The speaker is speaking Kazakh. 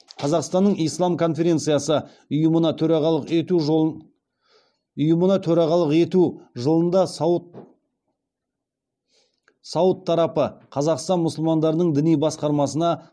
қазақстанның ислам конференциясы ұйымына төрағалық ету жылында сауд тарапы қазақстан мұсылмандарының діни басқармасына